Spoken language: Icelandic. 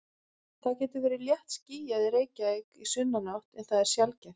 Það getur verið léttskýjað í Reykjavík í sunnanátt en það er sjaldgæft.